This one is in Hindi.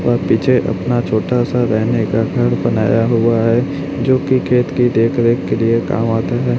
वह पीछे अपना छोटा सा रहने का घर बनाया हुआ है जोकि खेत के देख रेख के लिए काम आता है।